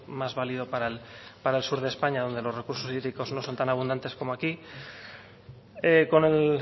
más válido para el sur de españa donde los recursos hídricos no son tan abundantes como aquí con el